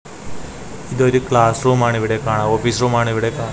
ഇത് ഒരു ക്ലാസ്സ് റൂമാണ് ഇവിടെ കാണ ഓഫീസ് റൂമാണ് ഇവിടെ കാ--